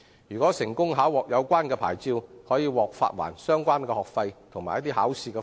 如成功考獲有關牌照，可獲發還相關學費及考試費用。